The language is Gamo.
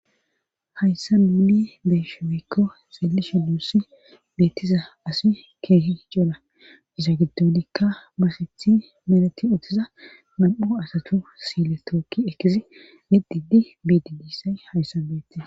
hayssa mili beeshimekko xeelisha duussi beettiza asi keehi cola isa giddonikka masethi mereti uttiza mam7o asatu siile tookki ekkisi mididi biididisay hayssa beetis